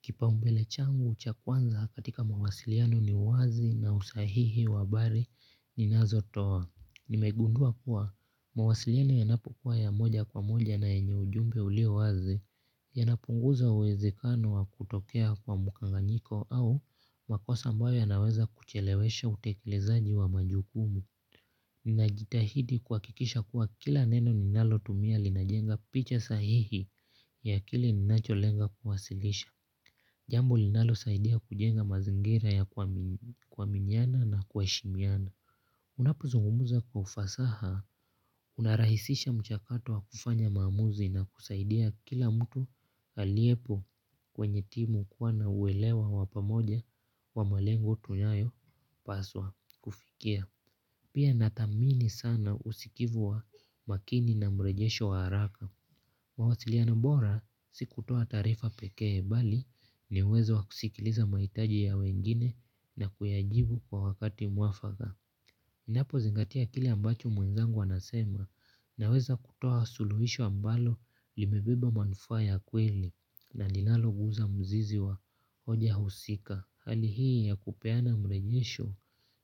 Kipaumbele changu cha kwanza katika mawasiliano ni wazi na usahihi wa habari ninazotoa. Nimegundua kuwa mawasiliano yanapokuwa ya moja kwa moja na yenye ujumbe ulio wazi yanapunguza uwezekano wa kutokea kwa mkanganyiko au makosa ambayo yanaweza kuchelewesha utekelezaji wa majukumu. Ninajitahidi kuhakikisha kuwa kila neno ninalotumia linajenga picha sahihi ya akili ninacholenga kuwasilisha. Jambo linalosaidia kujenga mazingira ya kuaminiana na kuheshimiana unapozungumza kwa ufasaha unarahisisha mchakatu wa kufanya maamuzi na kusaidia kila mtu aliepo kwenye timu kuwa na uelewa wa pamoja wa malengo tunayopaswa kufikia. Pia natamini sana usikivu wa makini na mrejesho wa haraka. Mawasiliano bora si kutoa taarifa pekee bali ni uwezo wa kusikiliza mahitaji ya wengine na kuyajibu kwa wakati muafaka. Ninapozingatia kile ambacho mwenzangu anasema naweza kutoa suluhisho ambalo limebeba manufaa ya kweli na linaloguza mzizi wa hoja husika. Hali hii ya kupeana mrejesho